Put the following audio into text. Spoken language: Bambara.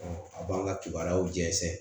a b'an ka kibaruyaw jɛnsɛ